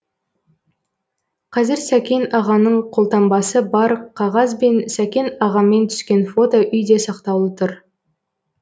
қазір сәкен ағаның қолтаңбасы бар қағаз бен сәкен ағамен түскен фото үйде сақтаулы тұр